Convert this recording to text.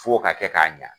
F'o ka kɛ k'a ɲa